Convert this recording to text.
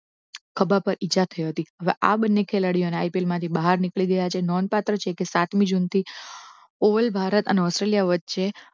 ખભા પર ઇજા થઈ હતી હવે આ બંને ખેલાડીઓના IPL માંથી બહાર નીકળી ગયા છે નોંધપાત્ર છે કે સાતમી જૂનથી all ભારત અને ઓસ્ટ્રેલિયા વચ્ચે